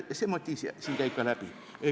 See motiiv käib ka siin läbi.